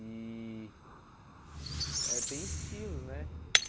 E eh tem estilos, né?